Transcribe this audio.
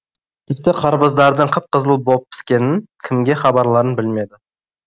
тіпті қарбыздардың қып қызыл боп піскенін кімге хабарларын білмеді